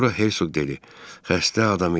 Sonra Herzoq dedi: Xəstə adam idi.